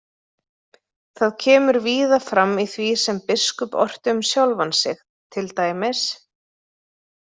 Það kemur víða fram í því sem biskup orti um sjálfan sig, til dæmis: